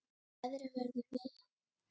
En veðrið verður milt.